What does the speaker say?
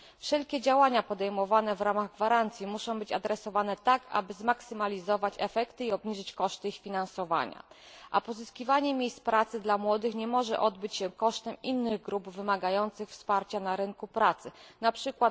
Wszelkie działania podejmowane w ramach gwarancji muszą być prowadzone tak, aby zmaksymalizować efekty i obniżyć koszty ich finansowania, a pozyskiwanie miejsc pracy dla młodych nie może odbyć się kosztem innych grup wymagających wsparcia na rynku pracy, np.